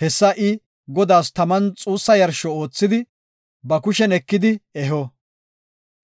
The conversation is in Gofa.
Hessa I Godaas taman xuussa yarsho oothidi, ba kushen ekidi eho.